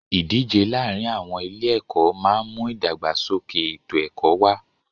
Ìdíje láàárin àwọn ilé ẹ̀kọ́ máà ń mú ìdàgbàsókè ètò ẹ̀kọ́ wá.